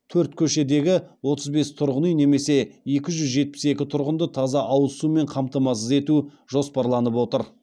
төрт көшедегі отыз бес тұрғын үй немесе екі жүз жетпіс екі тұрғынды таза ауыз сумен қамтамасыз ету жоспарланып отыр